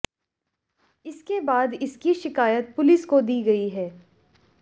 इसके बाद इसकी शिकायत पुलिस को दी गई है